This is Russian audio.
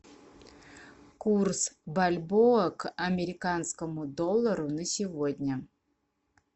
курс бальбоа к американскому доллару на сегодня